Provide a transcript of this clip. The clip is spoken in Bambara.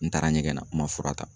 N taara ɲɛgɛn na, n ma fura ta.